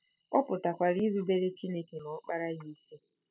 Ọ pụtakwara irubere Chineke na Ọkpara ya isi.